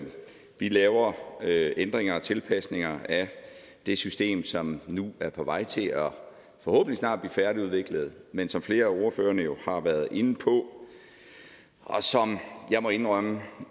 vi laver laver ændringer og tilpasninger af det system som nu er på vej til forhåbentlig snart at blive færdigudviklet men som flere af ordførerne jo har været inde på og jeg må indrømme